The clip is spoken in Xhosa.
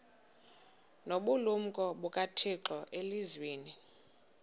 nobulumko bukathixo elizwini